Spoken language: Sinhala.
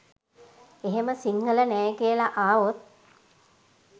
එහෙම සිංහල නෑ කියල ආවොත්